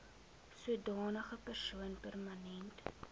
sodanige persoon permanent